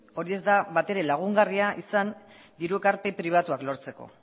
hori ez da batere lagungarria izan diru ekarpen pribatuak lortzeko